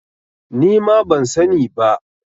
Nima ban sani ba.